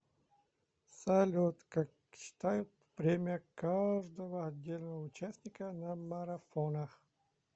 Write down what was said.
салют как считают время каждого отдельного участника на марафонах